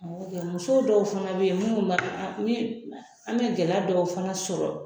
Musow dɔw fana bɛ yen minnu an bɛ gɛlɛya dɔw fana sɔrɔ